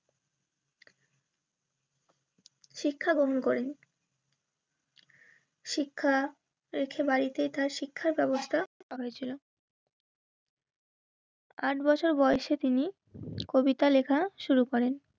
শিক্ষা গ্রহণ করেন. শিক্ষা রেখে বাড়িতে তার শিক্ষার ব্যবস্থা হয়েছিল. উম আট বছর বয়সে তিনি কবিতা লেখা শুরু করেন.